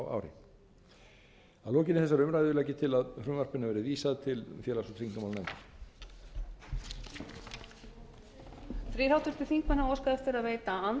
að lokinni þessari umræðu legg ég til að frumvarpinu verði vísað til félags og tryggingamálanefndar